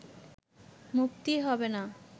মুক্তি হবে না